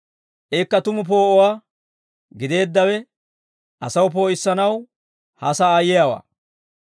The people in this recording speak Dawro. Ikka tumu poo'uwaa gideeddawe asaw poo'issanaw ha sa'aa yiyaawaa.